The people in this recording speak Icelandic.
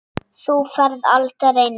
Þú ferð aldrei neitt.